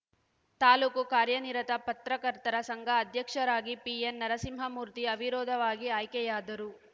ತಾಲೂಕು ಕಾರ್ಯನಿರತ ಪತ್ರಕರ್ತರ ಸಂಘ ಅಧ್ಯಕ್ಷರಾಗಿ ಪಿಎನ್‌ ನರಸಿಂಹಮೂರ್ತಿ ಅವಿರೋಧವಾಗಿ ಆಯ್ಕೆಯಾದರು